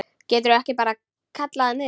Geturðu ekki bara kallað niður?